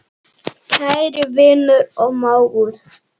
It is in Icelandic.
Kæri vinur og mágur.